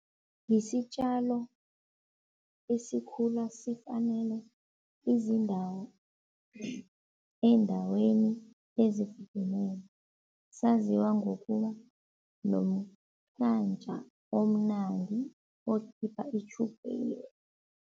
Yisitjalo esikhula sifanele izindawo eendaweni ezifudumele, saziwa ngokuba omnandi okhipha itjhukela.